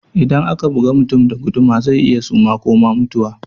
Idan aka bugi mutum da guduma zai iya suma ko ma mutuwa